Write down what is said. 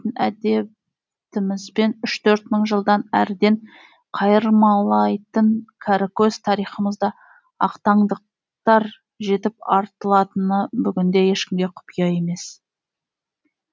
әдетімізбен үш төрт мың жылдан әріден қайырмалайтын кәрікөз тарихымызда ақтаңдақтар жетіп артылатыны бүгінде ешкімге құпия емес